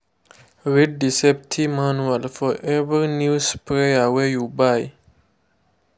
read the safety manual for every new sprayer wey you buy.